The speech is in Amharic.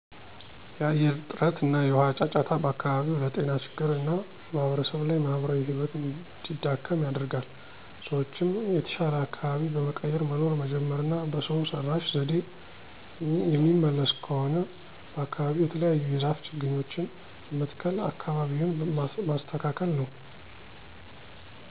የአየር ጥረት እና የውሃ ጫጫታ በአከባቢው ለጤና ችግር እና ማህበረሰብ ለይ ማህበራዊ ህይወት እንዲዳከም ያደርገል። ሰዎችም የተሻለ አካበቢ በመቀየር መኖር መጀመር እና በሰው ሰረሽ ዘዴ የሚመለስ ከሆነ በአከባቢው የተለያዩ የዛፍ ችግኞችን በመትከል አከባቢውን መስተካከል ነው